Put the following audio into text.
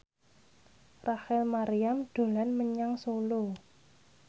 Rachel Maryam dolan menyang Solo